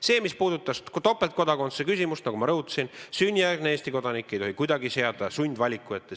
See, mis puudutas topeltkodakondsuse küsimust, siis nagu ma rõhutasin, sünnijärgset Eesti kodanikku ei tohi kuidagi seada sundvaliku ette.